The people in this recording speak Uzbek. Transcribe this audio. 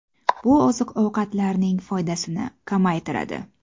Bu oziq-ovqatlarning foydasini kamaytiradi.